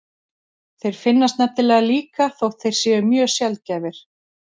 Þeir finnast nefnilega líka þótt þeir séu mjög sjaldgæfir.